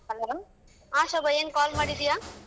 Hello ಹಾ ಶೋಭ ಎನ್ call ಮಾಡಿದ್ಯ?